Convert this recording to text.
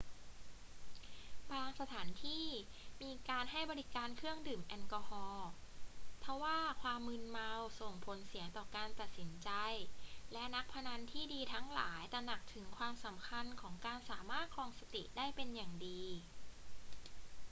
บางสถานที่มีการให้บริการเครื่องดื่มแอลกอฮอล์ ทว่าความมึนเมาส่งผลเสียต่อการตัดสินใจ และนักพนันที่ดีทั้งหลายตระหนักถึงความสำคัญของการสามารถครองสติได้เป็นอย่างดี